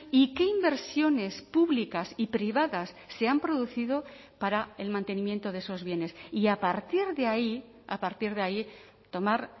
y qué inversiones públicas y privadas se han producido para el mantenimiento de esos bienes y a partir de ahí a partir de ahí tomar